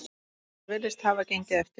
Þetta virðist hafa gengið eftir.